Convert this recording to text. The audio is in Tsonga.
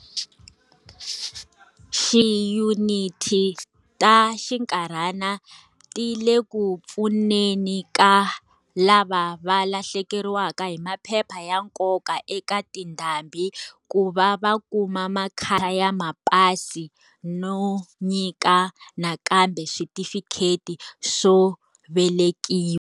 Tiyuniti ta xinkarhana ti le ku pfuneni ka lava va lahlekeriwa hi maphepha ya nkoka eka tindhambi ku va va kuma makha ya mapasi no nyika nakambe switifikheti swo velekiwa.